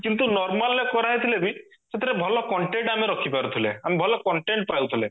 କିନ୍ତୁ normalରେ କରା ହେଇଥିଲେ ବି ସେଥିରେ ଭଲ content ଆମେ ରଖିପାରୁଥିଲେ ଆମେ ଭଲ content ରହୁଥିଲେ